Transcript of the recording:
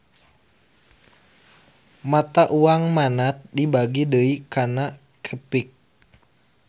Mata uang Manat dibagi deui kana qepik